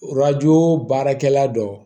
Arajo baarakɛla dɔ